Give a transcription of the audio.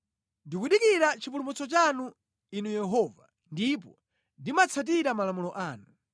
Ndikudikira chipulumutso chanu, Inu Yehova, ndipo ndimatsatira malamulo anu.